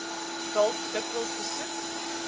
dalk dikwels besoek